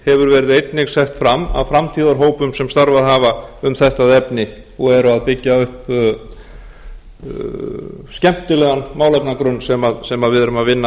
hefur verið einnig sett fram af framtíðarhópum sem starfað hafa um þetta efni og eru að byggja upp skemmtilegan málefnagrunn sem við eru að vinna